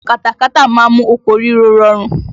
Katakata má ń mú oko ríro rọrùn.